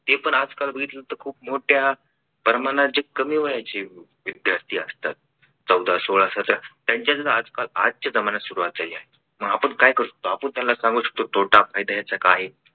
हे पण आज काल बघितलं तर खूप मोठ्या प्रमाणात जे कमी वयाचे विद्यार्थी असतात चौदा सोळा सतरा त्यांच्यात च आजकाल आजच्या जमान्यात सुरवात झाली आहे. आपण काय करू शकतो. आपण त्याला सांगू शकतो तोटा फायदा त्याचा काय आहे.